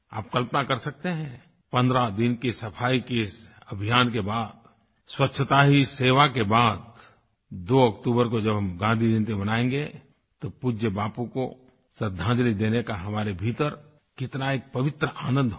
आप कल्पना कर सकते हैं 15 दिन के सफ़ाई के इस अभियान के बाद स्वच्छता ही सेवा के बाद 2 अक्टूबर को जब हम गाँधी जयंती मनाएगें तो पूज्य बापू को श्रद्धांजलि देने का हमारे भीतर कितना एक पवित्र आनंद होगा